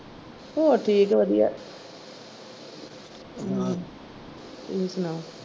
ਹੋਰ ਠੀਕ ਵਧੀਆ ਤੁਸੀਂ ਸੁਣਾਓ?